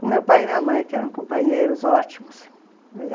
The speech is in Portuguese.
Com meu pai e minha mãe, que eram companheiros ótimos.